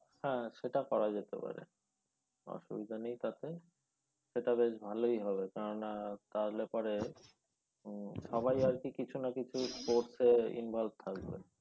হ্যাঁ সেটা করা যেতে পারে অসুবিধা নেই তাতে সেটা বেশ ভালই হবে কেননা তাহলে পরে সবাই আর কি কিছু না কিছু sports এ involve থাকবে।